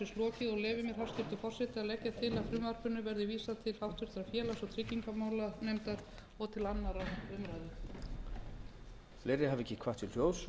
og leyfi mér hæstvirtur forseti að leggja til að frumvarpinu verði vísað til háttvirtrar félags og tryggingamálanefndar og til annarrar umræðu